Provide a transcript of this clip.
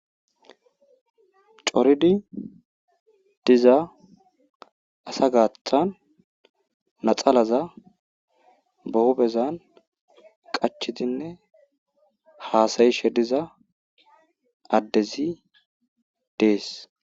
Coridi diza asa gaathan naxalaza ba huuphezan qachidinne haasayishe diza addezi dees.